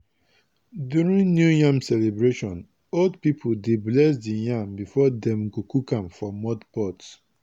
during new yam celebration old people dey bless the yam before dem go cook am for mud pot.